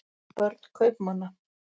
börn kaupmanna